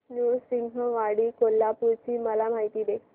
नृसिंहवाडी कोल्हापूर ची मला माहिती दे